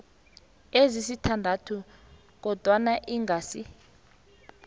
ezisithandathu kodwana ingasi